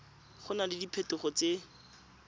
go na le diphetogo tse